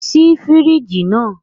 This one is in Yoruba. Ṣii firiji naa!